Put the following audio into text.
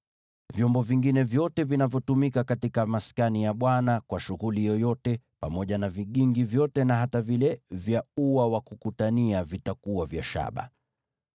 Vyombo vingine vyote vinavyotumika katika maskani kwa shughuli yoyote, pamoja na vigingi vyote na hata vile vya ua, vitakuwa vya shaba.